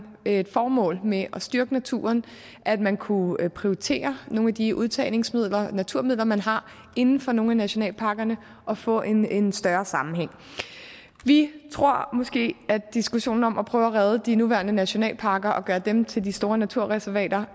et formål med at styrke naturen at man kunne prioritere nogle af de udtagningssmidler naturmidler man har inden for nogle af nationalparkerne og få en større sammenhæng vi tror måske at man i diskussionen om at prøve at redde de nuværende nationalparker og gøre dem til de store naturreservater